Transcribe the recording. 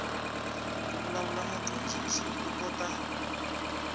ku vulavula mudyondzi u kota